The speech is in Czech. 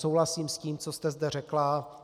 Souhlasím s tím, co jste zde řekla.